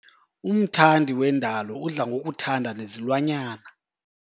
Umthandi wendalo udla ngokuthanda nezilwanyana.